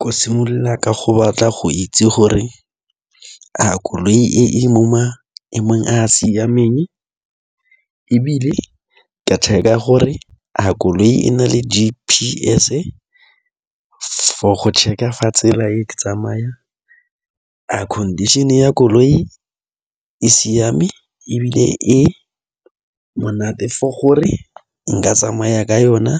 Ko simolola ka go batla go itse gore a koloi e mo maemong a a siameng ebile ke check-a gore a koloi e na le G_P_S for go check-a tsela e tsamaya, a condition ya koloi e siame ebile e monate for gore nka tsamaya ka yona,